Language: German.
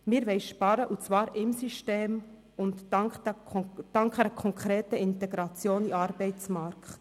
Wir wollen sparen und zwar am System und dank einer konkreten Integration in den Arbeitsmarkt.